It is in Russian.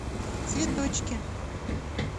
цветочки